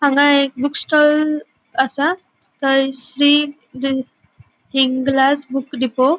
हांगा एक book stall असा तै बुक डेपो --